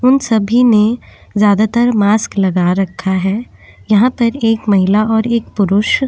उन सभी ने ज्यादातर मास्क लगा रखा है यहाँ पर एक महिला और एक पुरुष --